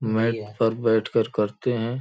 Mat पर बैठ कर करते हैं।